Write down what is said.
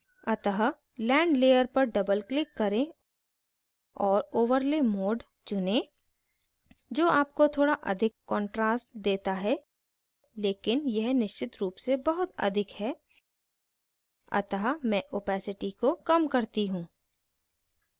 अतः land layer पर double click करें और overlay mode चुनें जो आपको थोड़ा अधिक contrast देता है लेकिन यह निश्चित रूप से बहुत अधिक है अतः मैं opacity को कम करती हूँ